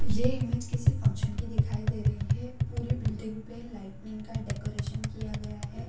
ये इमेज किसी फंक्शन की दिखाई दे रही है पूरी बिल्डिंग पे लाइटनिंग का डेकोरेशन किया गया है।